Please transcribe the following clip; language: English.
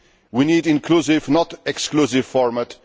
We need an inclusive, not exclusive, format.